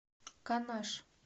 канаш